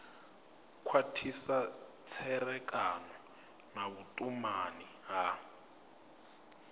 khwathisa tserekano na vhutumani ya